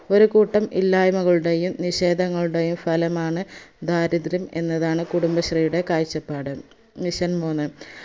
ഒരുകൂട്ടം ഇല്ലായ്മകളുടെയും നിഷേധങ്ങളുടെയും ഫലമാണ് ദാരിത്രം എന്നതാണ് കുടുംബശ്രീയുടെ കാഴ്ചപ്പാട് mission മൂന്ന്